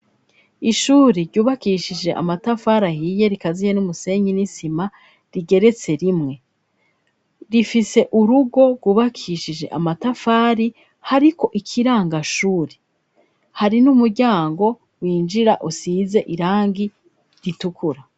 Ishuri ryubakishije amatafari ahiye rikaziye n'umusenyi n'isima rigeretse rimwe rifise urugo rwubakishije amatafari hariko ikirangashuri hari n'umuryango winjira usize irangi ritukura.